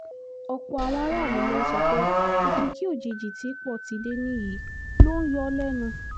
ọ̀pọ̀ àwọn aráàlú ló ń sọ pé òkìkí òjijì tí pọ́tidé ní yìí ló ń yọ ọ́ lẹ́nu